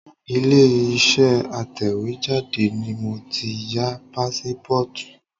Ilé Iṣẹ́ atẹ̀wétà ni mo ti ya pásípọ́ọ̀tù.